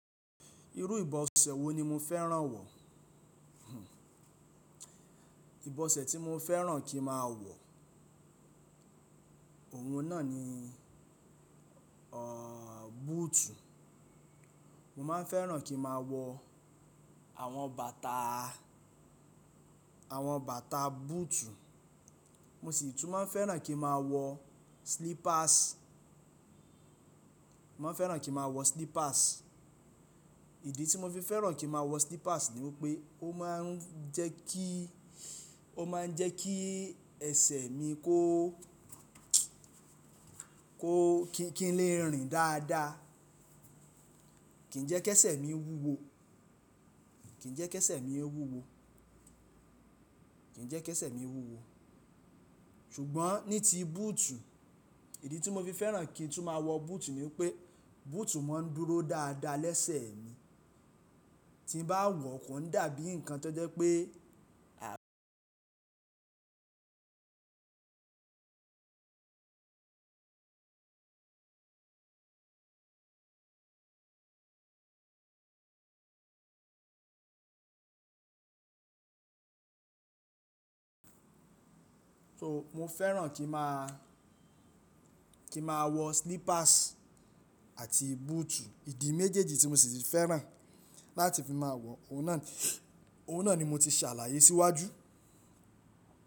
Irú ìbọ̀sẹ̀ wo ni mo fẹ́ràn wọ̀? Ìbọ̀sẹ̀ tí mo fẹ́ràn kí ma wọ̀, ọ̀ún náà ni búùtù. Mo máa ń fẹ́ràn kí ma wọ àwọn bàtà, àwọn bàtà búùtù. Mo sì tún máa fẹ́ràn kí ma wọ slippers. Mo máa ń fẹ́ràn kí ma wọ slippers. Ìdí tí mo fi fẹ́ràn kí ma wọ slippers ni wípé ó máa ń jẹ́ kí, ó máa ń jẹ́ kí ẹsẹ̀ mi kó, kó kí n lè rìn dáadáa. Kì ń jẹ́ kẹsẹ̀ mi wúwo, kì ń jẹ́ kẹsẹ̀ mi wúwo, kì ń jẹ́ kẹsẹ̀ mi wúwo. Ṣùgbọ́n ní ti búùtù, ìdí tí mo fi fẹ́ràn kí n tún máa wọ búùtù ni wípé búùtù máa ń dúró dáadáa lẹ́sẹ̀ mi. Tí n bá wọ̀ kò ń dàbí nǹkan tó jẹ́ pé. So mo fẹ́ràn kí ń máa, kí ń máa wọ slippers àti búùtù. Ìdí méjèèjì tí mo sì ti fẹ́ràn láti fi máa wọ, ọ̀ún náà ni, ọ̀ún náà ni mo ti ṣàlàyé síwájú.